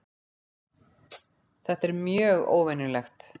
Þetta er mjög óvenjulegt